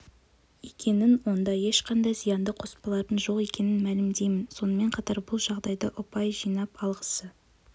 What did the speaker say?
екенін онда ешқандай зиянды қоспалардың жоқ екенін мәлімдеймін сонымен қатар бұл жағдайда ұпай жинап алғысы